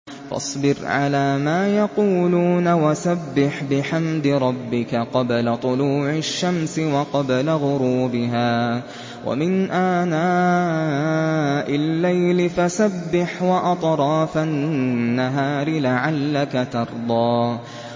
فَاصْبِرْ عَلَىٰ مَا يَقُولُونَ وَسَبِّحْ بِحَمْدِ رَبِّكَ قَبْلَ طُلُوعِ الشَّمْسِ وَقَبْلَ غُرُوبِهَا ۖ وَمِنْ آنَاءِ اللَّيْلِ فَسَبِّحْ وَأَطْرَافَ النَّهَارِ لَعَلَّكَ تَرْضَىٰ